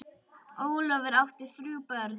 Ólafur, á hann þrjú börn.